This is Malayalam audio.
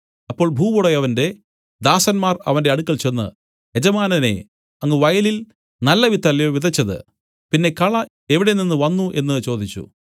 അപ്പോൾ ഭൂവുടയവന്റെ ദാസന്മാർ അവന്റെ അടുക്കൽ ചെന്ന് യജമാനനേ അങ്ങ് വയലിൽ നല്ലവിത്തല്ലയോ വിതച്ചത് പിന്നെ കള എവിടെനിന്ന് വന്നു എന്നു ചോദിച്ചു